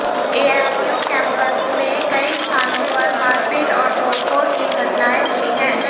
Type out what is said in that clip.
AMU campus में कई स्थानों पर मारपीट और तोडफ़ोड़ की घटनाएं हुई हैं